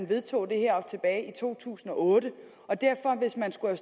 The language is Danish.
vedtog det her tilbage i to tusind og otte og hvis man skulle